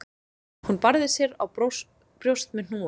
Hún barði sér á brjóst með hnúunum